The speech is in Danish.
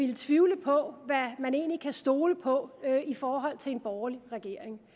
vil tvivle på hvad man egentlig kan stole på i forhold til en borgerlig regering